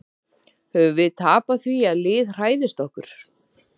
Höfum við tapað því að lið hræðist okkur?